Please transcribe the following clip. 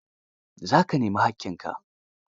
Za ka nemi haƙƙinka?